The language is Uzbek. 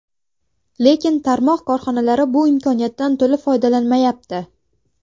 Lekin tarmoq korxonalari bu imkoniyatdan to‘la foydalanmayapti.